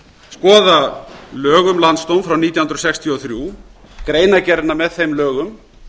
skoða lög um landsdóm frá nítján hundruð sextíu og þrjú greinargerðina með þeim lögum